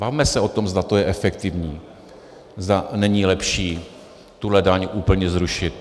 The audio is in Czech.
Bavme se o tom, zda to je efektivní, zda není lepší tuhle daň úplně zrušit.